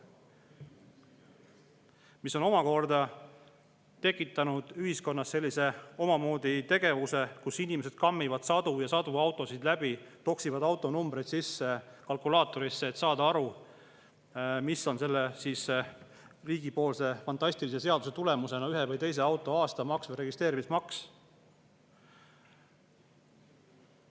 See on omakorda tekitanud ühiskonnas sellise omamoodi tegevuse, et inimesed kammivad läbi sadu ja sadu autosid, toksivad autonumbreid kalkulaatorisse sisse, et saada aru, mis on selle riigi fantastilise seaduse tulemusena ühe või teise auto aastamaks ja registreerimismaks.